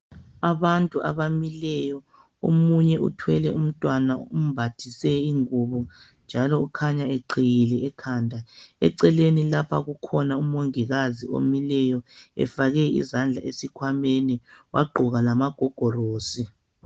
Abantu abamileyo. Omunye uthwele umntwana umbathise ingubo njalo ukhanya eqhiyile ekhanda. Eceleni lapha kukhona umongikazi omileyo efake izandla ezikhwameni wagqoka lamagogorosi.